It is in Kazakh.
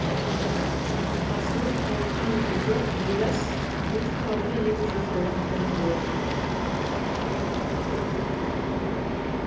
апасынан қорыққан бидас екі тауды екі жаққа лақтырып жіберді